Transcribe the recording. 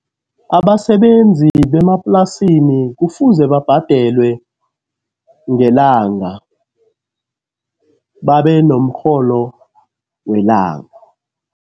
Abasebenzi bemaplasini kufuze babhadelwe ngelanga, babe nomrholo welanga.